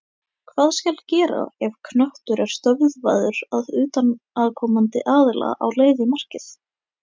Hvað skal gera ef knöttur er stöðvaður af utanaðkomandi aðila á leið í markið?